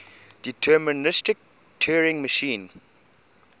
deterministic turing machine